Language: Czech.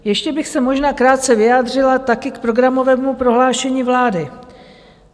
Ještě bych se možná krátce vyjádřila taky k programovému prohlášení vlády.